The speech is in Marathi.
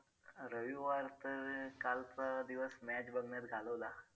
रविवारचं कालचा दिवस match बघण्यात घालवला.